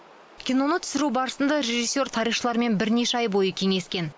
киноны түсіру барысында режиссер тарихшылармен бірнеше ай бойы кеңескен